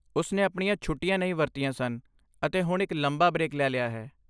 ਉਸ ਨੇ ਆਪਣੀਆਂ ਛੁੱਟੀਆਂ ਨਹੀਂ ਵਰਤੀਆਂ ਸਨ ਅਤੇ ਹੁਣ ਇੱਕ ਲੰਬਾ ਬ੍ਰੇਕ ਲੈ ਲਿਆ ਹੈ।